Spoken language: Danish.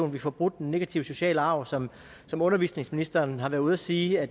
vi får brudt den negative sociale arv som som undervisningsministeren har været ude at sige er